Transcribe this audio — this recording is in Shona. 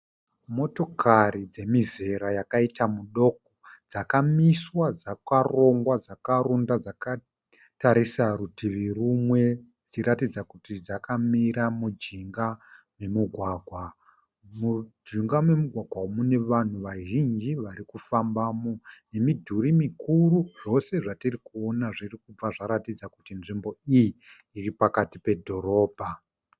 Motokari dzemizera yakaita mudoko . Dzakamiswa dzakarongwa dzakarunda dzakatarisa rutivi rumwe. Dzichiratidza kuti dzakamira mujinga memugwagwa. Mujinga memugwagwa umu mune vanhu vazhinji varikufambamo nemidhuri mikuru. Zvose zvatiri kuona zviri kubva zvaratidza kuti nzvimbo iyi iripakati pedhorobha.